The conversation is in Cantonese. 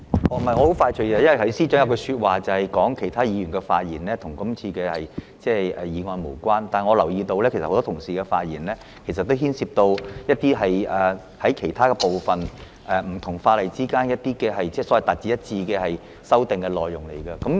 我很快的，因為司長剛才說其他議員的發言與今次議案無關，但我留意到很多其他同事的發言內容也牽涉到其他有關部分，包括希望不同法例之間用詞達致一致的修訂內容。